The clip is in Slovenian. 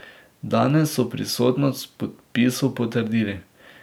Danes so pristnost podpisov potrdili.